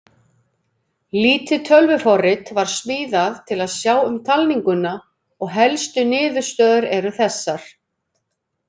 Lítið tölvuforrit var smíðað til að sjá um talninguna og helstu niðurstöður eru þessar: